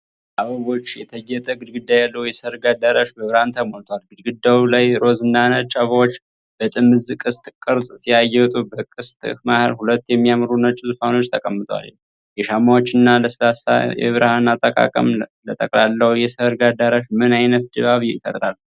በአበቦች የተጌጠ ግድግዳ ያለው የሠርግ አዳራሽ በብርሃን ተሞልቷል። ግድግዳው ላይ ሮዝ እና ነጭ አበባዎች በጥምዝ ቅስት ቅርጽ ሲያጌጡ፣ በቅስቱ መሃል ሁለት የሚያምሩ ነጭ ዙፋኖች ተቀምጠዋል። የሻማዎችና ለስላሳ የብርሃን አጠቃቀም ለጠቅላላው የሠርግ አዳራሽ ምን ዓይነት ድባብ ይፈጥራል?